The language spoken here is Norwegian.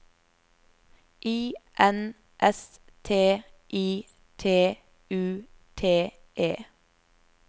I N S T I T U T E